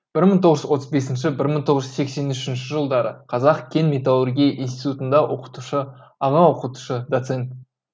мың тоғыз жүз отыз бесінші мың тоғыз жүз сексен үшінші жылдары қазақ кен металлургия институтында оқытушы аға оқытушы доцент